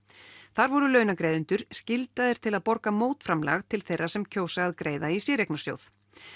þar voru launagreiðendur skyldaðir til að borga mótframlag til þeirra sem kjósa að greiða í séreignarsjóð